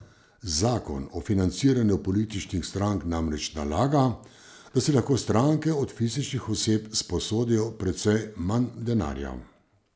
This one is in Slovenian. Zakon o financiranju političnih strank namreč nalaga, da si lahko stranke od fizičnih oseb sposodijo precej manj denarja.